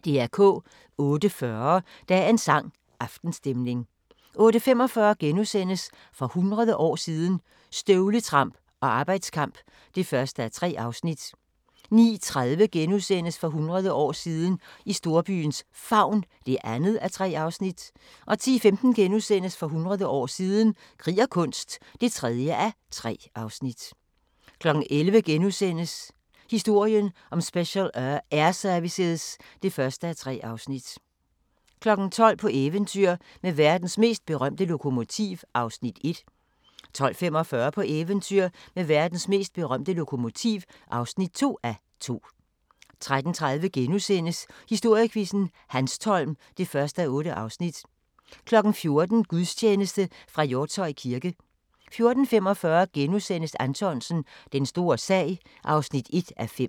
08:40: Dagens sang: Aftenstemning 08:45: For hundrede år siden – Støvletramp og arbejdskamp (1:3)* 09:30: For hundrede år siden – i storbyens favn (2:3)* 10:15: For hundrede år siden – krig og kunst (3:3)* 11:00: Historien om Special Air Service (1:3)* 12:00: På eventyr med verdens mest berømte lokomotiv (1:2) 12:45: På eventyr med verdens mest berømte lokomotiv (2:2) 13:30: Historiequizzen: Hanstholm (1:8)* 14:00: Gudstjeneste fra Hjortshøj kirke 14:45: Anthonsen – Den store sag (1:5)*